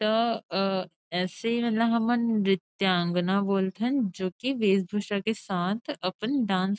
त अ ऐसे म हमन नृत्यांगना बोल थन जो की वेश भूषा के साथ अपन डांस --